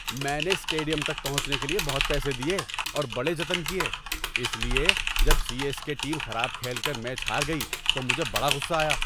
میں نے اسٹیڈیم تک پہنچنے کے لیے بہت پیسے دیے اور بڑے جتن کیے، اس لیے جب سی ایس کے ٹیم خراب کھیل کر میچ ہار گئی تو مجھے بڑا غصہ آیا۔